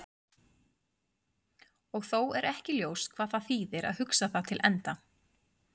Og þó er ekki ljóst hvað það þýðir að hugsa það til enda.